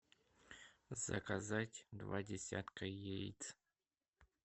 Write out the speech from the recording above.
заказать два десятка яиц